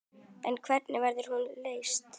En hvernig verður hún leyst?